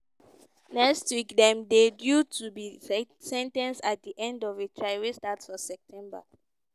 next week dem dey due to be sen ten ced at di end of a trial wey start for september.